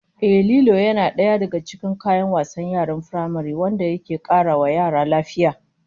Ehh, Lilo yana daga cikin kayan wasan yaran firamare wanda ke kara wa yara lafiya